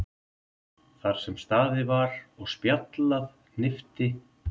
Þar sem staðið var og spjallað hnippti